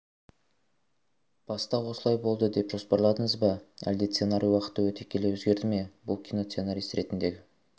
баста осылай болады деп жоспарладыңыз ба әлде сценарий уақыт өте келе өзгерді ме бұл киносценарист ретіндегі